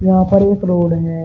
यहां पर एक रोड है।